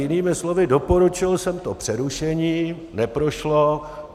Jinými slovy, doporučil jsem to přerušení, neprošlo.